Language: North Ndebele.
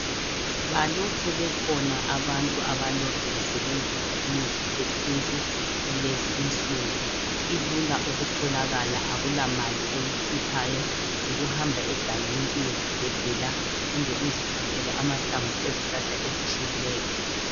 Balokhe bekhona abantu abalokhe besebenzisa imithi yesintu kulezi insuku. Ilula ukutholakala akulamali oyikhiphayo. Yikuhamba egangeni uyezigebhela kumbe uzithathele amahlamvu ezihlahla ezitshiyeneyo.